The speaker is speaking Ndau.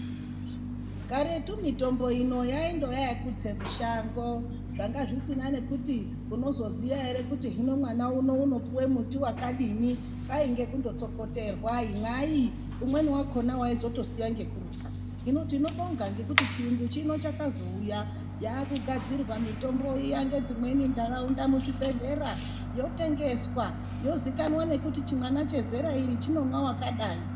Karetu mitombo ino yaindoya yekutse mushango. Zvanga zvisina zvekuti unozoziya ere kuti hino mwana uno unopuwe muti wakadini. Kwainge kundotsokoterwa, imwai. Umweni wakhona waizotosiya ngekurutsa. Hino tinobonga ngekuti chiyungu chino chakazouya. Yaakugadzirwa mitombo iya ngedzimweni ntaraunda, muzvibhedhlera, yotengeswa. Yozikanwa nekuti chimwana chezera iri chinomwa wakadai.